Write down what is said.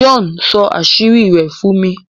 John sọ àṣírí rẹ̀ fún mi.